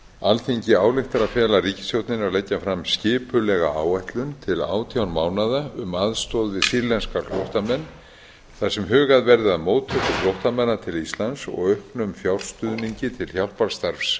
alþingi ályktar að fela ríkisstjórninni að leggja fram skipulega áætlun til átján mánaða um aðstoð við sýrlenska flóttamenn þar sem hugað verði að móttöku flóttamanna til íslands og auknum fjárstuðningi til hjálparstarfs